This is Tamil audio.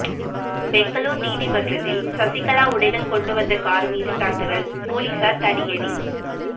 பெங்களூர் நீதிமன்றத்தில் சசிகலா உடைகள் கொண்டு வந்த கார் மீது தாக்குதல் போலீசார் தடியடி